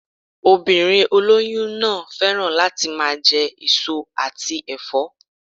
Obìnrin olóyún náà féràn láti máa je èso àti èfó